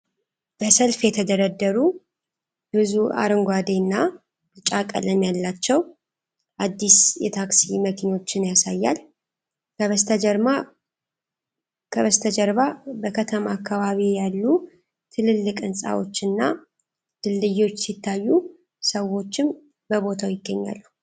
በሰልፍ የተደረደሩ ብዙ አረንጓዴ እና ቢጫ ቀለም ያላቸው አዲስ የታክሲ መኪኖችን ያሳያል። ከበስተጀርባ በከተማ አካባቢ ያሉ ትልልቅ ሕንፃዎች እና ድልድዮች ሲታዩ ሰዎችም በቦታው ይገኛሉ።